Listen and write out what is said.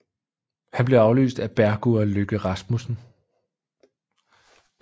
Han blev afløst af Bergur Løkke Rasmussen